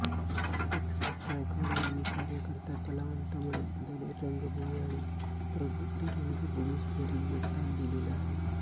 Texas गायकवाड यांनी कार्यकर्ता कलावंत म्हणून दलित रंगभूमी आणि प्रबुद्ध रंगभूमीस भरीव योगदान दिलेले आहे